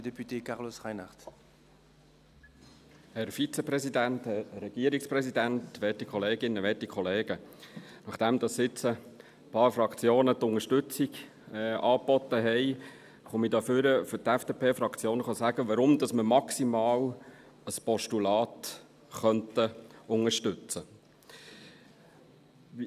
Nachdem nun einige Fraktionen die Unterstützung angeboten haben, komme ich hier nach vorne für die FDP-Fraktion, um zu sagen, warum wir maximal ein Postulat unterstützen könnten.